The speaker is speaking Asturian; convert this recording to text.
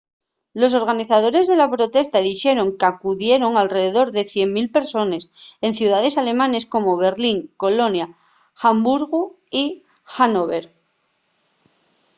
los organizadores de la protesta dixeron qu’acudieron alredor de 100.000 persones en ciudaes alemanes como berlín colonia hamburgu y hannover